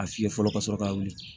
A fiyɛ fɔlɔ ka sɔrɔ ka wuli